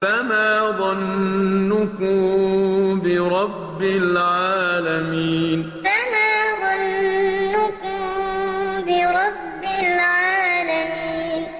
فَمَا ظَنُّكُم بِرَبِّ الْعَالَمِينَ فَمَا ظَنُّكُم بِرَبِّ الْعَالَمِينَ